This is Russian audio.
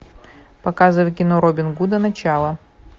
показывай кино робин гуда начало